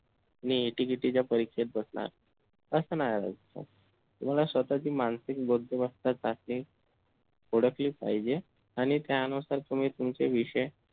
मी ATKT च्या परीक्षेत बसणार अस नाही व्हायचं. तुम्हाला स्वतःची मानसिक बौद्धिमत्ता चाचणी ओळखलीच पाहिजे आणि त्यानुसार तुम्ही तुमचे विषय